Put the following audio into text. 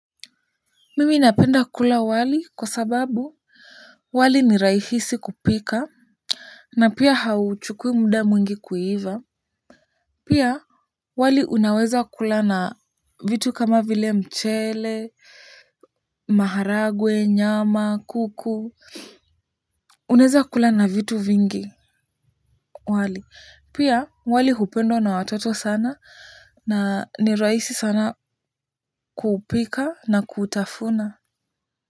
Mimi napenda wali kwa sababu wali ni rahisi kupika na pia hauchukui muda mwingi kuiva. Pia wali unaweza kula na vitu kama vile mchele maharagwe nyama kuku. Unaeza kula na vitu vingi wali pia wali hupendwa na watoto sana na ni rahisi sana kupika na kutafuna.